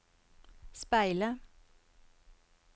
speile